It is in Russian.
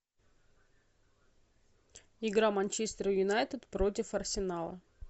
игра манчестер юнайтед против арсенала